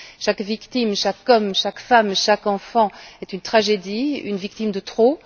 Chaque victime, chaque homme, chaque femme, chaque enfant est une tragédie, une victime de trop.